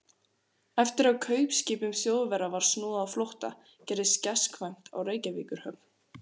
Eftir að kaupskipum Þjóðverja var snúið á flótta, gerðist gestkvæmt á Reykjavíkurhöfn.